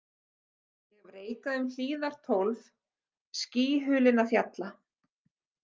Ég hef reikað um hlíðar tólf skýhulinna fjalla.